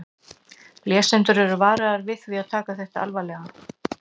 Lesendur eru varaðir við því að taka þetta alvarlega.